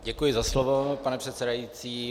Děkuji za slovo, pane předsedající.